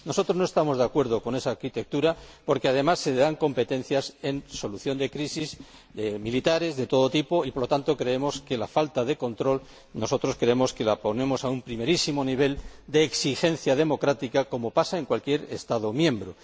Nosotros no estamos de acuerdo con esa arquitectura porque, además, se le dan competencias en solución de crisis militares de todo tipo. Opinamos que hay una falta de control. Para nosotros, el control debe responder a un primerísimo nivel de exigencia democrática, como pasa en cualquier Estado miembro.